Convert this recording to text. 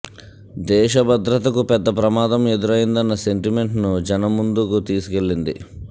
దేశ భద్రతకు పెద్దప్రమాదం ఎదురైందన్న సెం టిమెంట్ ను జనం ముందుకు తీసుకెళ్లింది